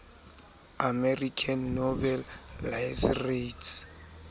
american nobel laureates